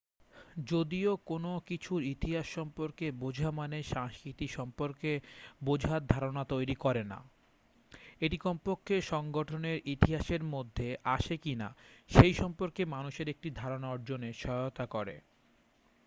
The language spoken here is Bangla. যদিও কোন কিছুর ইতিহাস সম্পর্কে বোঝা মানেই সংস্কৃতি সম্পর্কে বোঝার ধারনা তৈরি করে না এটি কমপক্ষে সংগঠনের ইতিহাসের মধ্যে আসে কিনা সেই সম্পর্কে মানুষের একটি ধারণা অর্জনে সহায়তা করে